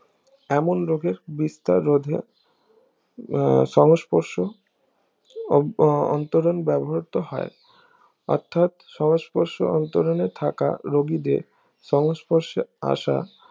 এমন রজার বিস্তার রোধে আহ সমস্পর্শ অন্তরণ ব্যবহৃত হয় অর্থাৎ সমস্পর্শ অন্তরণে থাকা রুগীদের সংস্পর্শে আশা